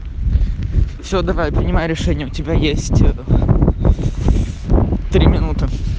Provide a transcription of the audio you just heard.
всё давай принимай решение у тебя есть три минуты